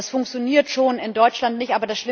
Das funktioniert schon in Deutschland nicht.